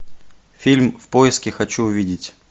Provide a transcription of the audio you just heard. фильм в поиске хочу увидеть